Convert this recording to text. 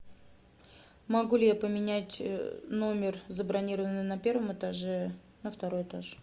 могу ли я поменять номер забронированный на первом этаже на второй этаж